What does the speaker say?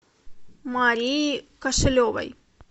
марии кошелевой